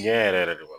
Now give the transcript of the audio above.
Ɲɛ yɛrɛ yɛrɛ de b'a